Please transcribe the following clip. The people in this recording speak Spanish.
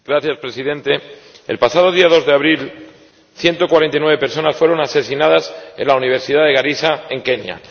Señor Presidente, el pasado día 2 de abril 149 personas fueron asesinadas en la universidad de Garissa, en Kenia.